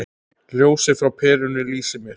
Ljósið frá perunni lýsir mér.